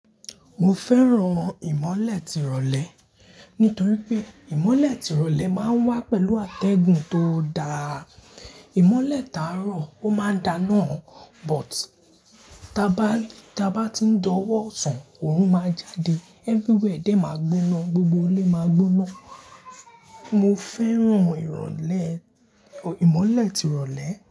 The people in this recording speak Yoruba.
Mo fẹ́ran ìmọ́lẹ̀ tirọ̀lẹ́ nítorí pé ìmọ́lẹ̀ tirọ̀lẹ́ máa ń wá pẹ̀lú àtẹ̀gùn tó dáa. Ìmọ́lẹ̀ táa rọ̀ ó máa ń da náà but táa bá, táa bá ti ń dọ́wọ́ sàn, òòrùn máa jáde. Everywhere dé máa gbóná, gbogbo ilé máa gbóná. Mo fẹ́ran ìrọ̀lẹ́, ìmọ́lẹ̀ tirọ̀lẹ́